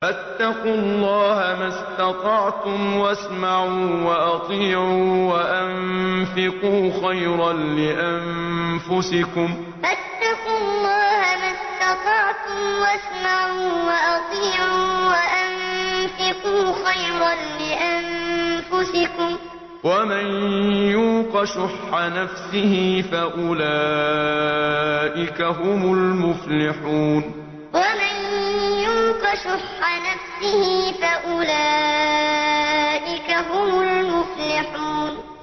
فَاتَّقُوا اللَّهَ مَا اسْتَطَعْتُمْ وَاسْمَعُوا وَأَطِيعُوا وَأَنفِقُوا خَيْرًا لِّأَنفُسِكُمْ ۗ وَمَن يُوقَ شُحَّ نَفْسِهِ فَأُولَٰئِكَ هُمُ الْمُفْلِحُونَ فَاتَّقُوا اللَّهَ مَا اسْتَطَعْتُمْ وَاسْمَعُوا وَأَطِيعُوا وَأَنفِقُوا خَيْرًا لِّأَنفُسِكُمْ ۗ وَمَن يُوقَ شُحَّ نَفْسِهِ فَأُولَٰئِكَ هُمُ الْمُفْلِحُونَ